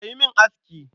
Ka yi min aski.